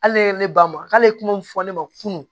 Hali ne ye ne ba ma k'ale ye kuma min fɔ ne ma kunun